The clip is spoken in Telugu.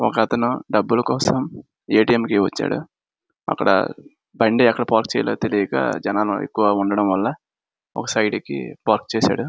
ఒక అతను డబ్బుల కోసం ఏ. టి. ఎం. కి వచ్చాడు అక్కడ బండి ఎక్కడ పార్కు చెయ్యాలో తెలియక జనాలు ఎక్కువగా ఉండడం వల్ల ఒక సైడ్ కి పార్కు చేశాడు.